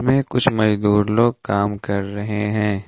में कुछ मजदूर लोग कम कर रहे हैं।